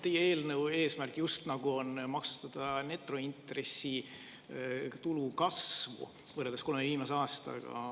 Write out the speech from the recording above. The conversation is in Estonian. Teie eelnõu eesmärk on just nagu maksustada netointressitulu kasvu, kolm viimast aastat.